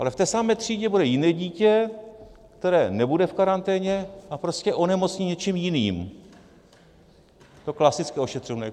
Ale v té samé třídě bude jiné dítě, které nebude v karanténě a prostě onemocní něčím jiným, to klasické ošetřovné.